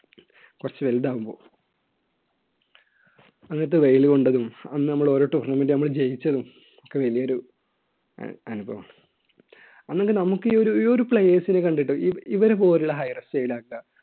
കുറച്ചു വലുതാവുമ്പോ അന്നത്തെ വെയിൽ കൊണ്ടതും അന്ന് നമ്മൾ ഓരോ tournament ജയിച്ചതും ഒക്കെ വലിയൊരു അനുഭവമാണ് അന്നൊക്കെ നമുക്ക് ഈ ഒരു ഈയൊരു players നെ കണ്ടിട്ട് ഇവര് പോലുള്